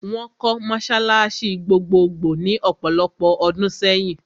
Wọ́n kọ́ mọ́sálásí gbogbogbò ní ọ̀pọ̀lopọ̀ ọdún sẹ́yìn.